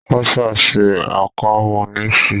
Russia ṣe àkọ́múníìsì